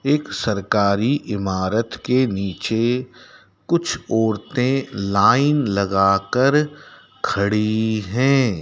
एक सरकारी इमारत के नीचे कुछ औरते लाइन लगाकर खड़ी हैं।